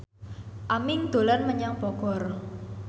Aming dolan menyang Bogor